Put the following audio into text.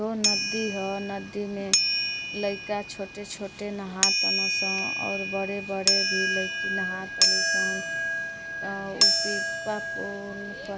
दो नदी ह नदी में लईका छोटे-छोटे नहा ताड़ सन और बड़े-बड़े भी लईकीन् नहा ताड़ी सन अ उ --